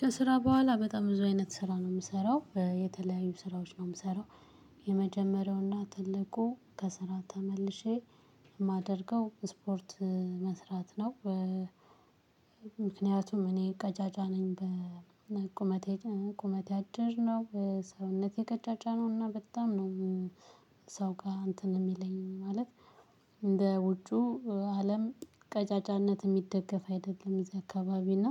ከስራ በኋላ በጣም ብዙ አይነት ስራ ነው የምሰራው የተለያዩ ስራዎች ነው የምሰራው የመጀመሪያውና ትልቁ ከስራ ተመልሼ የማደርገው ስፖርት መስራት ነው። ምክንያቱም እኔ ቀጫጫ ነኝ በቁመቴ ቁመቴ አጭር ነው ሰውነቴ ቀጫጫነውና በጣም ነው። ሰው ጋር እንትን የሚለኝ ማለት እንደ ውጩ አለም ቀጫጫነት የሚደገፍ አይደለም እዚህ አካባቢ እና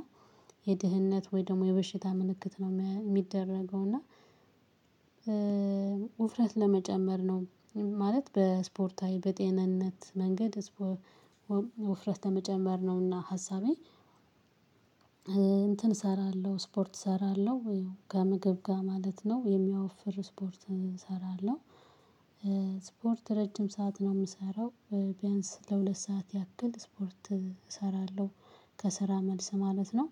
የድህነት ወይ ደግሞ የበሽታ ምልክት ነው የሚደረገው እና። ውፍረት ለመጨመር ነው ማለት በስፖርታዊ በጤንነት መንገድ ወፍረት ለመጨመር ነውና ሀሳቤ። እንትን እሰራለሁ ስፖርት እሰራለሁ ከምግብ በኋላ ደግሞ የሚያወፍር ስፖርት እሰራለሁ። ስፖርት ረጅም ሰዓት ነው የምሰራው ቢያንስ ለሁለት ሰዓት ያክል ስፖርት እሰራለሁ። ከስራ መልስ ማለት ነው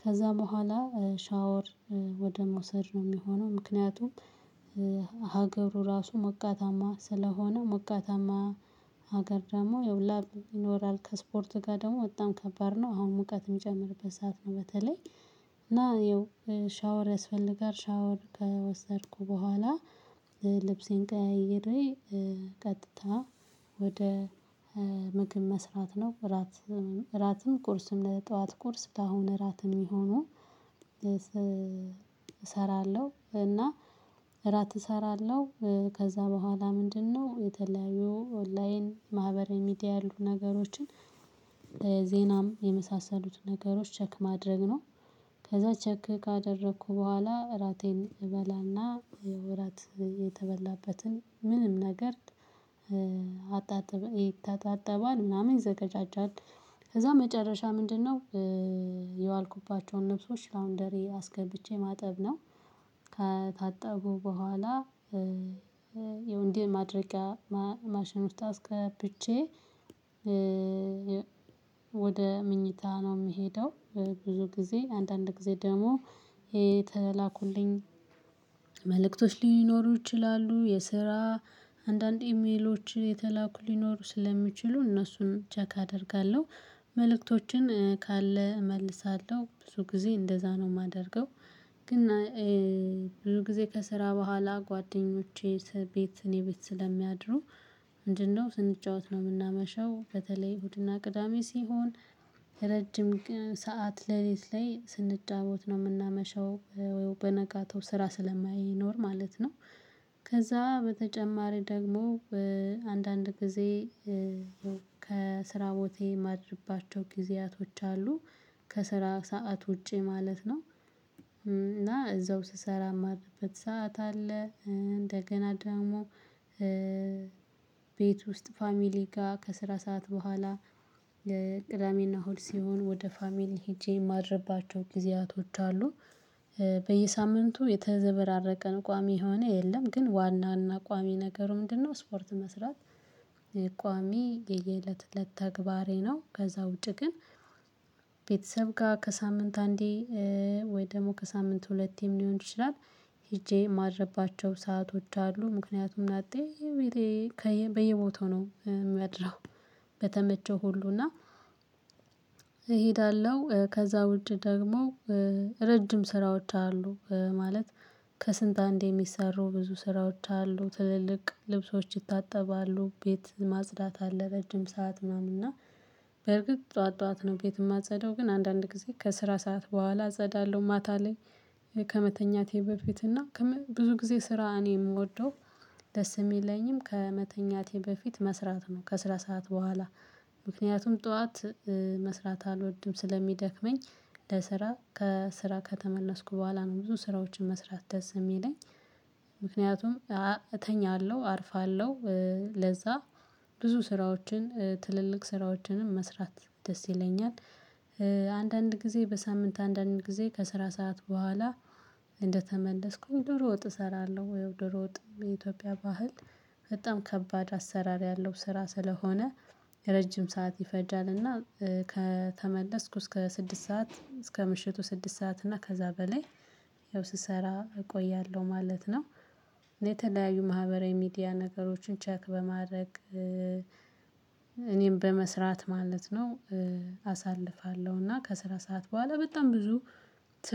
ከዛ በኋላ ሻወር ወደ መውሰድ ነው የሚሆነው። ምክንያቱም ሀገሩ ራሱ ሞቃታማ ስለሆነ ሞቃታማ ሀገር ደግሞ ላብ ይኖራል ከስፖርት ጋር ደግሞ በጣም ከባድ ነው። አሁን ሙቀት የሚጨምርበት ሰዓት ነው በተለይ እና ይኸው ሻወር ያስፈልጋል። ሻወር ከወሰድኩ በኋላ ልብሴን ቀይሬ ቀጥታ ወደ ምግብ መስራት ነው እራትም እራትም ቁርስም ለጠዋት ቁርስ ለአሁን እራትም የሚሆነው። እሰራለሁ እና እራት እሰራለሁ ከዛ በኋላ ምንድነው የተለያዩ ኦንላይን ማህበረሚዲያ ያሉ ነገሮችን ለዜናም የመሳሰሉት ነገሮች ቸክ ማድረግ ነው። ከዛ ቸክ ካደረኩ በኋላ እራቴን እበላና ወራት የተበላበትን ምንም ነገር አጣጥበን ይተጣጠባል ምናምን ይዘገጃጃል። ከዛ መጨረሻ ምንድነው? የዋልኩባቸውን ልብሶች አሁን ላውንደሪ አስገብቼ ማጠብ ነው። ከታጠቡ በኋላ የወንድም ማድረጊያ ማሸነፍት አስከብቼ ወደ ምኝታ ነው የምሄደው። ብዙ ጊዜ አንዳንድ ጊዜ ደግሞ የተላኩልኝ መልእክቶች ሊኖሩ ይችላሉ የስራ አንዳንድ ኢሜሎች የተላኩ ሊኖሩ ስለሚችሉ እነሱን ቼክ አደርጋለሁ መልእክቶችን ካለ እመልሳለሁ ብዙ ጊዜ እንደዛ ነው የማደርገው። ግን ብዙ ጊዜ ከስራ በኋላ ጓደኞቼ ቤት እኔ ቤት ስለሚያድሩ ምንድነው ስንጫወት ነው የምናመሸው። በተለይ እሁድና ቅዳሜ ሲሆን ረጅም ሰዓት ለሊኔ ላይ ስንጫወት ነው የምናመሸው በነጋታው ስራ ስለማይኖር ማለት ነው። ከዛ በተጨማሪ ደግሞ አንዳንድ ጊዜ ከስራ ቦቴ የማድርባቸው ጊዜያቶች አሉ። ከስራ ሰዓት ውጪ ማለት ነው። እና እዛው ስሰራ የማድርበት ሰዓት አለ። እንደገና ደግሞ ቤት ውስጥ ፋሚሊ ጋር ከስራ ሰዓት በኋላ የቅዳሜና እሁድ ሲሆን ወደ ፋሚሊ ሄጄ የማድርባቸው ጊዜያቶች አሉ። በየሳምንቱ የተዘበራረቀን ቋሚ የሆነ የለም ግን ዋናና ቋሚ ነገሩ ምንድነው ስፖርት መስራት? ቋሚ የየእለት እለት ተግባሬ ነው። ከዛ ውጪ ግን ቤተሰብ ጋር ከሳምንት አንዴ ወይ ደግሞ ከሳምንት ሁለቴም ሊሆን ይችላል። ሄጄ የማድርባቸው ሰአቶች አሉ። ምክንያቱም እናቴ በየቦታው ነው መድረህ በተመቸው ሁሉ እና። ከዛ ውጪ ደግሞ ረጅም ስራዎች አሉ ማለት ከስንት አንዴ የሚሰሩ ብዙ ስራዎች አሉ። ትልልቅ ልብሶች ይታጠባሉ ቤት ማጽዳት አለ። ረጅም ሰዓት ምናምን እና በርግጥ ጠዋት ጠዋት ነው ቤት የማጸደው ግን አንዳንድ ጊዜ ከስራ ሰዓት በኋላ አጸዳለሁ ማታ ላይ። ከመተኛቴ በፊት እና ብዙ ጊዜ ስራ እኔ የምወደው ደስ የሚለኝም ከመተኛቴ በፊት መስራት ነው። ከስራ ሰዓት በኋላ ምክንያቱም ጠዋት መስራት አልወድም ስለሚደክመኝ ለስራ ከስራ ከተመለስኩ በኋላ ነው ብዙ ስራዎችን መስራት ደስ የሚለኝ። ምክንያቱም እተኛለሁ አርፋለሁ ለዛ ብዙ ስራዎችን ትልልቅ ስራዎችንም መስራት ደስ ይለኛል። አንዳንድ ጊዜ በሳምንት አንዳንድ ጊዜ ከስራ ሰዓት በኋላ እንደተመለስኩኝ ዶሮ ወጥ እሰራለሁ ወይ ዶሮ ወጥ የኢትዮጵያ ባህል በጣም ከባድ አሰራር ያለው ስራ ስለሆነ ረጅም ሰዓት ይፈጃልና። ከተመለስኩ እስከ ስድስት ሰዓት እስከ ምሽቱ ስድስት ሰዓት እና ከዛ በላይ ያው ስሰራ እቆያለሁ ማለት ነው። እኔ የተለያዩ ማህበራዊ ሚዲያ ነገሮችን ቼክ በማድረግ እኔም በመስራት ማለት ነው። አሳልፋለሁ እና ከስራ ሰዓት በኋላ በጣም ብዙ ስራ